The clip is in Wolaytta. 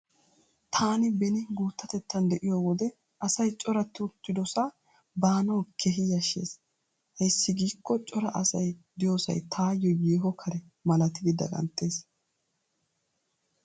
Taani beni guuttatettan de'iyo wode asay coratti uttidosaa baanawu iita yashshees. Ayssi giikko cora asay diyosay taayo yeeho kare malatidi daganttees.